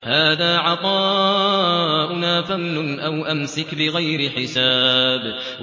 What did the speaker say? هَٰذَا عَطَاؤُنَا فَامْنُنْ أَوْ أَمْسِكْ بِغَيْرِ حِسَابٍ